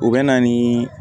U bɛ na ni